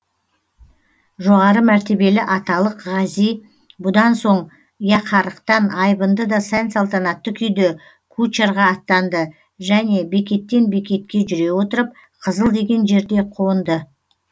жоғары мәртебелі аталық ғази бұдан соң яқарықтан айбынды да сән салтанатты күйде кучарға аттанды және бекеттен бекетке жүре отырып қызыл деген жерде қонды